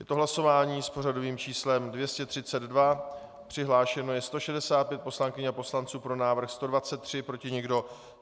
Je to hlasování s pořadovým číslem 232, přihlášeno je 165 poslankyň a poslanců, pro návrh 123, proti nikdo.